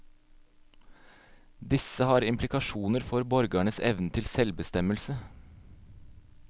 Disse har implikasjoner for borgernes evne til selvbestemmelse.